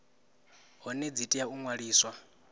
hone dzi tea u ṅwaliswa